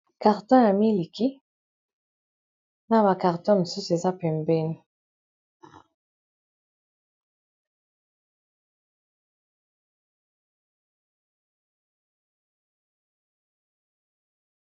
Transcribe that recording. Carton ya miliki na ba carton mosusu eza pembeni